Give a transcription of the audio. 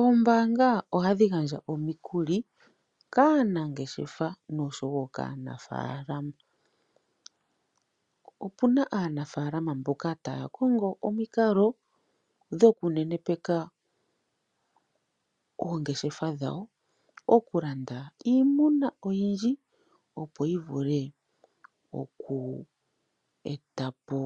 Ombaanga ohadhi gandja omikuli kaanangeshefa noshowo kaanafaalama Opuna aanafaalama mboka taya kongo omikalo dhoku nenepeka oongeshefa dhawo mokulanda iimuna oyindji opo yivule oku etapo